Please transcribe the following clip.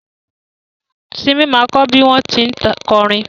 Simi ma kọ́ bí wọ́n tí ń kọrin